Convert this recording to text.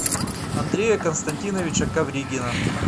андрея константиновича ковригина